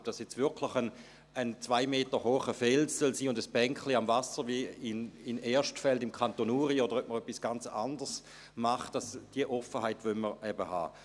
Ob das jetzt wirklich ein 2 Meter hoher Fels sein soll und ein Bänklein am Wasser wie in Erstfeld im Kanton Uri, oder ob man etwas ganz anderes macht – diese Offenheit wollen wir eben haben.